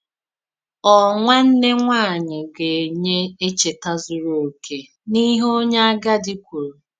Ọ̀ nwànnè nwáànyị gà-ènýè èchètà zùrù òkè n’íhè onye àgádì kwùrù?